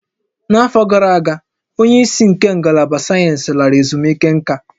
N'afọ gara aga, onye isi nke Ngalaba Sayensị lara ezumike nká